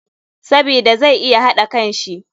Sabida zai iya haɗa kanshi